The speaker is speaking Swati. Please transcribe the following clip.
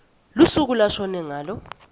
lusuku lashone ngalo